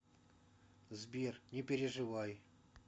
сбер не переживай